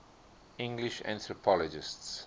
english anthropologists